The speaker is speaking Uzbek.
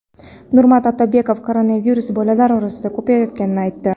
Nurmat Otabekov koronavirus bolalar orasida ko‘payayotganini aytdi.